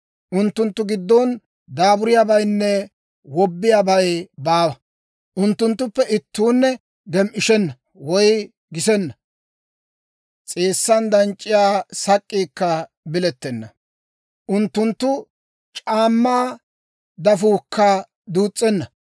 Unttunttu giddon daaburiyaabaynne wobbiyaabay baawa; unttunttuppe ittuunne gem"ishenna woy gisenna. S'eessan danc'c'iyaa Sak'k'iikka bilettenna; unttunttu c'aammaa dafuukka duus's'enna.